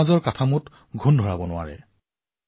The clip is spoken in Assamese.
এই ৰোগে যাতে আমাৰ সমাজক ৰোগাক্ৰান্ত নকৰে